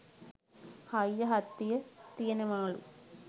හයිය හත්තිය තියෙනවාලු.